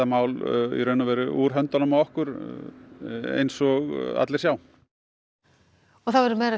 mál í raun og veru úr höndunum á okkur eins og allir sjá það verður